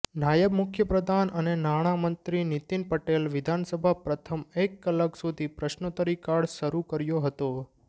નાયબ મુખ્યપ્રધાન અને નાણામંત્રી નીતિન પટેલ વિધાનસભા પ્રથમ એક કલાક સુધી પ્રશ્નોતરીકાળ શરૂ કર્યો હતો